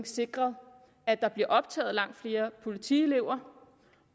sikret at der bliver optaget langt flere politielever